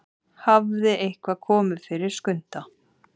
Hafði eitthvað komið fyrir Skunda?